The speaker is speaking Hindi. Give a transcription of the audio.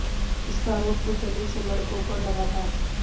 इसका आरोप कुछ दलित लड़कों पर लगा था